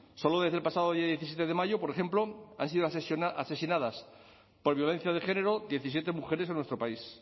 solo desde el pasado día diecisiete de mayo por ejemplo han sido asesinadas por violencia de género diecisiete mujeres en nuestro país